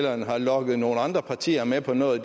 har lokket nogle andre partier med på noget